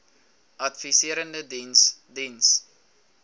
adviserende diens diens